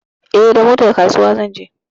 Eh, da motar kasuwa zan je.